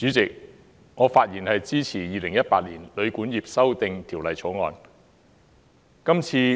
主席，我發言支持《2018年旅館業條例草案》。